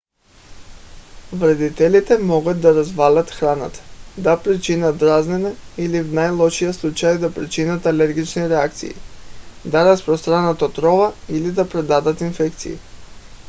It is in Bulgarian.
вредителите могат да развалят храната да причинят дразнене или в най - лошия случай да причинят алергични реакции да разпространят отрова или да предадат инфекции